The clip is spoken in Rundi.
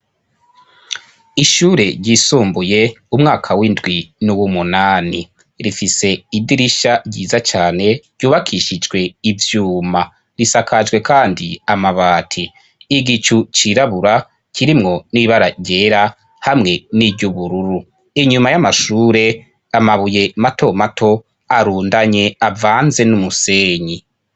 ishure ryisumbuye umwaka w'indwi n'uw'umunani rifise idirisha ryiza cyane ryubakishijwe ivyuma risakajwe kandi amabati igicu cirabura kirimwo n'ibaragyera hamwe n'iry'ubururu inyuma y'amashure amabuye mato mato arundanye avanze n'umusenyi